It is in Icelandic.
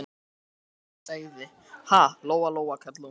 Hvað heldurðu að hann Lási segði, ha, Lóa Lóa, kallaði hún.